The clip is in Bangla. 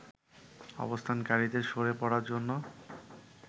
অবস্থানকারীদের সরে পড়ার জন্য